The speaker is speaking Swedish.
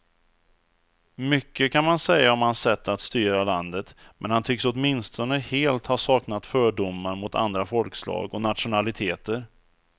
Mycket kan man säga om hans sätt att styra landet, men han tycks åtminstone helt ha saknat fördomar mot andra folkslag och nationaliteter.